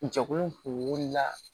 Jɛkulu kun wulila